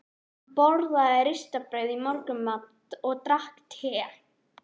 Hann borðaði ristað brauð í morgunmat og drakk te.